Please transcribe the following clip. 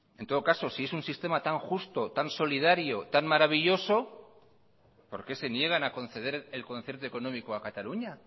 en todo caso si es un sistema tan justo tan solidario tan maravilloso por qué se niegan a conceder el concierto económico a cataluña